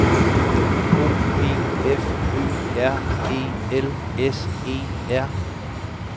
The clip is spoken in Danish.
O P F Ø R E L S E R